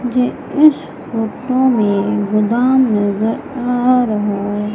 मुझे इस फोटो में गोदाम नजर आ रहा--